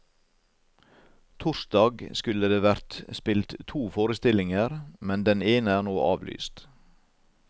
Torsdag skulle det vært spilt to forestillinger, men den ene er nå avlyst.